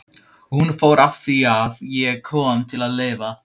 Og hún fór afþvíað ég kom til að lifa.